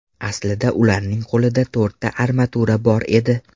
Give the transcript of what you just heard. Aslida ularning qo‘lida to‘rtta armatura bor edi.